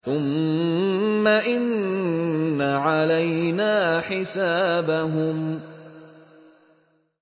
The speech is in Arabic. ثُمَّ إِنَّ عَلَيْنَا حِسَابَهُم